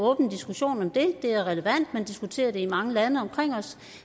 åben diskussion om det det er relevant man diskuterer det i mange lande omkring os